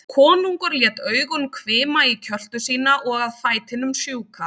Konungur lét augun hvima í kjöltu sína og að fætinum sjúka.